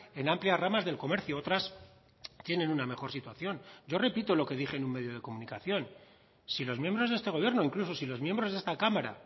en amplias ramas del comercio otras tienen una mejor situación yo repito lo que dije en un medio de comunicación si los miembros de este gobierno incluso si los miembros de esta cámara